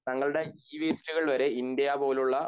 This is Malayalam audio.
തങ്ങളുടെ ഇ വേസ്റ്റുകൾ വരെ ഇന്ത്യ പോലുള്ള